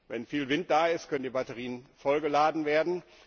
Wenn viel Wind da ist, können die Batterien vollgeladen werden.